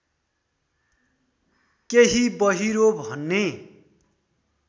केही बहिरो भन्ने